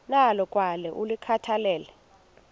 nalo kwaye ulikhathalele